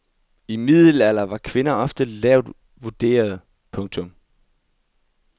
I middelalderen var kvinder ofte lavt vurderede. punktum